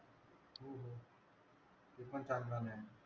तो पण चांगला नाही.